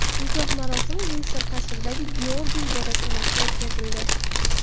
Nikoh marosimi Vindzor qasridagi Georgiy ibodatxonasida o‘tkazildi.